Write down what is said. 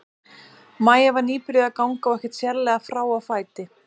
Maja var nýbyrjuð að ganga og ekkert sérlega frá á fæti.